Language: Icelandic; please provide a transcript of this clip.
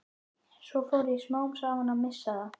Svo fór ég smám saman að missa það.